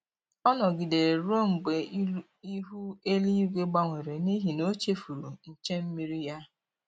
Ọ nọgidere ruo mgbe ihu eluigwu gbanwere n'ihi na o chefuru nche mmiri ya